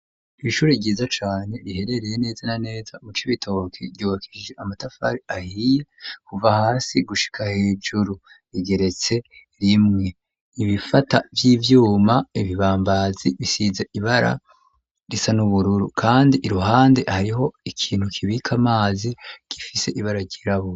Ishuri ryiza cane riherereye neza na neza mu Cibitoboke ryubakishije amatafari ahiye kuva hasi gushika hejuru rigeretse rimwe ibifata vy'ivyuma ibibambazi bisize ibara risa n'ubururu kandi iruhande hariho ikintu kibika amazi gifise ibara ryirabura.